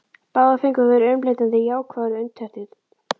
Báðar fengu þær umleitanir jákvæðar undirtektir.